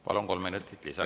Palun, kolm minutit lisaks!